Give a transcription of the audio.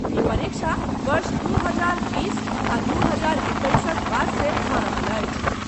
ई परीक्षा वर्ष दू हजार बीस आ दू हजार एक्कैसक वास्ते भऽ रहल अछि।